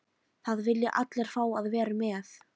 Það vilja allir fá að vera með.